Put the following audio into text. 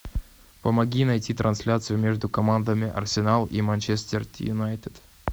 помоги найти трансляцию между командами арсенал и манчестер юнайтед